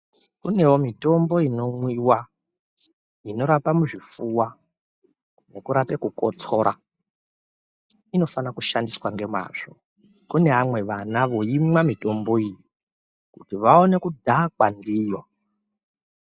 Kunewo mitombo inomwiwa inorapa muzvifuwa nekurape kukotsora. Inofana kushandiswa ngemazvo. Kune vamwe vana voimwa mitombo iyi kuti vawane kudhakwa ndiyo.